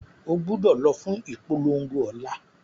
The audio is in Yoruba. Ogbúdọ̀ lọ fún ìpolongo ọ̀la